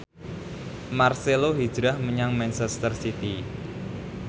marcelo hijrah menyang manchester city